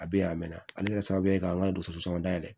A bɛ yan a mɛnna ale kɛra sababu ye k'an ka dɔgɔtɔrɔso dayɛlɛ